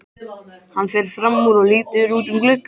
Hann fer fram úr og lítur út um gluggann.